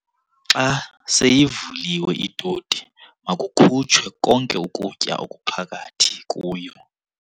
Xa seyivuliwe itoti makukhutshwe konke ukutya okuphakathi kuyo.